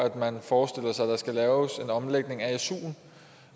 at man forestiller sig at der skal laves en omlægning af suen